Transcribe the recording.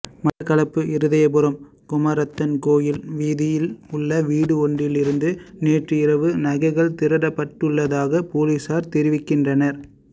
மட்டக்களப்பு இருதயபுரம் குமாரத்தன் கோயில் வீதியில் உள்ள வீடு ஒன்றில் இருந்து நேற்று இரவு நகைகள் திருடப்பட்டுள்ளதாக பொலிசார் தெரிவிக்கின்றனர்